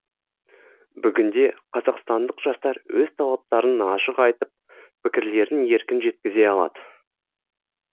бүгінде қазақстандық жастар өз талаптарын ашық айтып пікірлерін еркін жеткізе алады